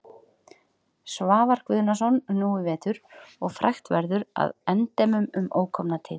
Svavar Guðnason nú í vetur og frægt verður að endemum um ókomna tíð.